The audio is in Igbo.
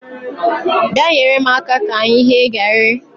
Bịa nyere m aka ka anyị ghee gari